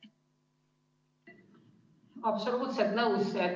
Absoluutselt nõus.